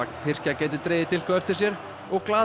Tyrkja gæti dregið dilk á eftir sér og glaður